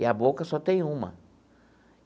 E a boca só tem uma.